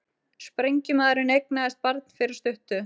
Sprengjumaðurinn eignaðist barn fyrir stuttu